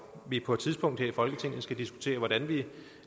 vi på et tidspunkt her i folketinget skal diskutere hvordan vi